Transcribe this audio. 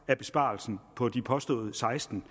af besparelsen på de påståede seksten